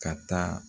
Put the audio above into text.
Ka taa